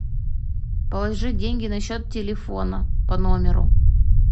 положи деньги на счет телефона по номеру